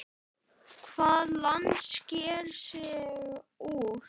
Hvaða land sker sig úr?